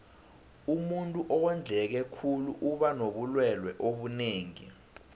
umuntuu owondleke khulu uba nobulelwe obunengi